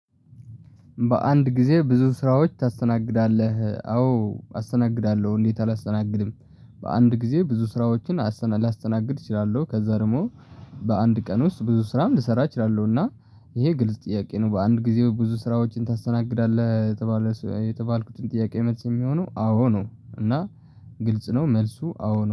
በአንድ ጊዜ ብዙ ስራዎች ታስተናግዳለህ አዎ አስተናግዳለሁ እንዴት አላስተናግድም? በአንድ ጊዜ ብዙ ስራዎችን አስተና ላስተናግድ እችላለሁ። ከዛ ደግሞ በአንድ ቀን ውስጥ ብዙ ስራም ልሰራ እችላለሁና። እና ይሄ ግልጽ ጥያቄ ነው በአንድ ጊዜ ብዙ ስራዎችን ታስተናግዳለህ የተባለ የተባልኩትን ጥያቄ መልስ የሚሆነው አዎ ነው። እና ግልጽ ነው መልሱ አዎ ነው